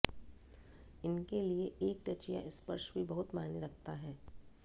इनके लिए एक टच या स्पर्श भी बहुत मायने रखता है